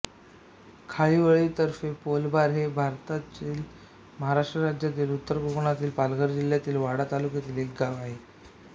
खारीवळीतर्फेपौळबार हे भारतातील महाराष्ट्र राज्यातील उत्तर कोकणातील पालघर जिल्ह्यातील वाडा तालुक्यातील एक गाव आहे